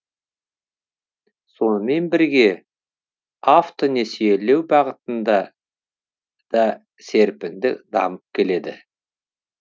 сонымен бірге автонесиелеу бағытында да серпінді дамып келеді